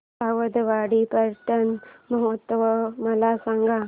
सावंतवाडी पर्यटन महोत्सव मला सांग